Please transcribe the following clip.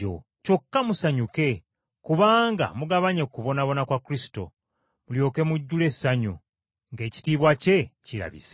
Kyokka musanyuke kubanga mugabanye ku kubonaabona kwa Kristo, mulyoke mujjule essanyu, ng’ekitiibwa kye kirabise.